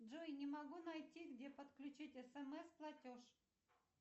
джой не могу найти где подключить смс платеж